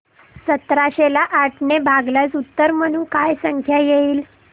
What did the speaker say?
सतराशे ला आठ ने भागल्यास उत्तर म्हणून काय संख्या येईल